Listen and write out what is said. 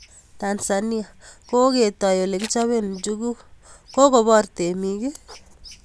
Tanzania: Koketai olekichobe njuguk, kokobor temik?